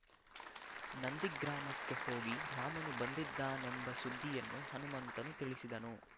ನಂದಿಗ್ರಾಮಕ್ಕೆ ಹೋಗಿ ರಾಮನು ಬಂದಿದ್ದಾನೆಂಬ ಸುದ್ದಿಯನ್ನು ಹನುಮಂತನು ತಿಳಿಸಿದನು